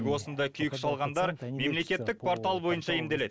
тек осындай күйік шалғандар мемлекеттік портал бойынша емделеді